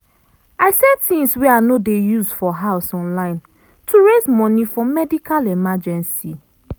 i sell things wey i no dey use for house online to raise money for medical emergency